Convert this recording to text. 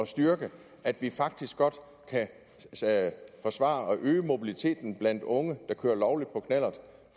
styrke at vi faktisk godt kan forsvare at øge mobiliteten blandt unge der kører lovligt på knallert